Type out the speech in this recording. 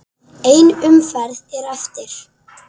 Ein umferð er eftir.